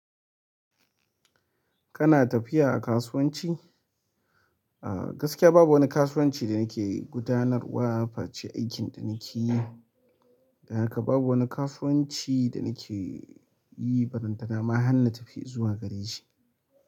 Kana tafiya a kasuwanci? Aa, gaskiya babu wani kasuwanci da nake gudanarwa face aikin da nake yi. Dan haka babu wani kasuwanci da nake yi, ballantana ma harna ta fi zuwa gare shi.